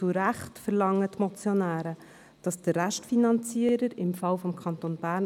Zu Recht verlangen die Motionäre, der Restfinanzierer solle in die Pflicht genommen werden.